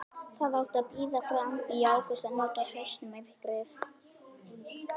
Það átti að bíða fram í ágúst og nota haustmyrkrið.